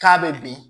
K'a bɛ bin